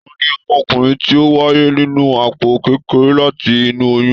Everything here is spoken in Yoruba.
Tani ọmọkùnrin ti o wáyé nínú àpò kékeré láti inú oyún?